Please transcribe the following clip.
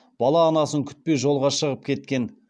бала анасын күтпей жолға шығып кеткен